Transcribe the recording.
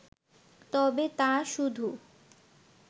তবে তা শুধু